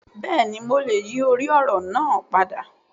Bẹ́ẹ̀ni mo lè yíì orí òrò naa padà